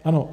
Ano.